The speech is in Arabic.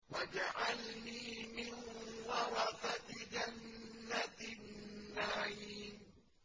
وَاجْعَلْنِي مِن وَرَثَةِ جَنَّةِ النَّعِيمِ